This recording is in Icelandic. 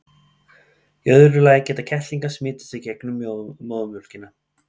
í öðru lagi geta kettlingar smitast í gegnum móðurmjólkina